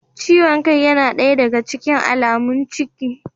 Ciwon kai yana daya daga cikin alamun ciki